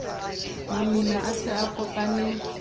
mamina a se a kopane